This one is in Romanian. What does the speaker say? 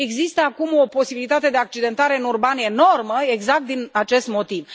Există acum o posibilitate de accidentare în urban enormă exact din acest motiv.